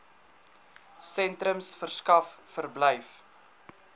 sentrums verskaf verblyf